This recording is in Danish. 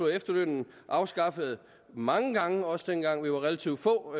efterlønnen afskaffet mange gange også dengang vi var relativt få